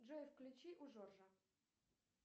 джой включи у жоржа